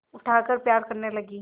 उठाकर प्यार करने लगी